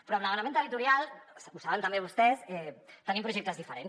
però en l’element territorial ho saben també vostès tenim projectes diferents